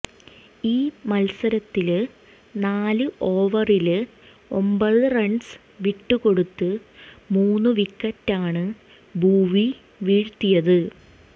ഈ മത്സരത്തില് നാല് ഓവറില് ഒമ്പത് റണ്സ് വിട്ടുകൊടുത്ത് മൂന്ന് വിക്കറ്റാണ് ഭുവി വീഴ്ത്തിയത്